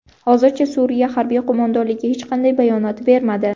Hozircha Suriya harbiy qo‘mondonligi hech qanday bayonot bermadi.